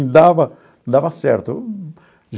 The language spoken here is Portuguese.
E dava dava certo.